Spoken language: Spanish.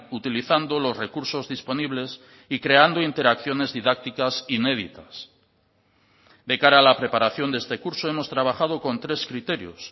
utilizando los recursos disponibles y creando interacciones didácticas inéditas de cara a la preparación de este curso hemos trabajado con tres criterios